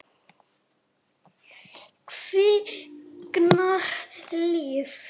Kviknar líf.